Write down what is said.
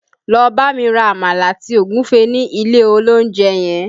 Lọ bámi ra Àmàlà àti Ògúfe ní ilé olóúnjẹ yẹn!